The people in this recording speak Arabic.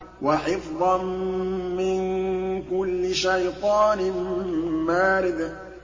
وَحِفْظًا مِّن كُلِّ شَيْطَانٍ مَّارِدٍ